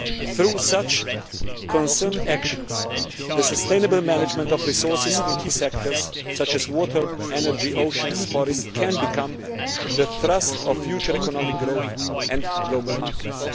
Through such concerned actions the sustainable management of resources in key sectors such as water, energy, oceans and forests can become the thrust of future economic growth and global markets.